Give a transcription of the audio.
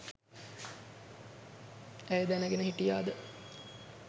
ඇය දැනගෙන හිටියාද?